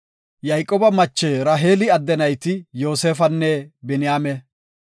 Yayqooba mache Raheeli adde nayti Yoosefanne Biniyaame.